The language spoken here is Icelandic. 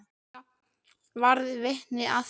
Ég varð vitni að því.